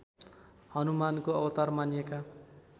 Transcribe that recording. हनुमानको अवतार मानिएका